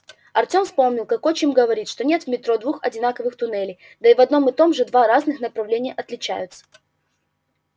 артём вспомнил как отчим говорит что нет в метро двух одинаковых туннелей да и в одном и том же два разных направления отличаются